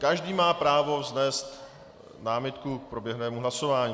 Každý má právo vznést námitku k proběhlému hlasování.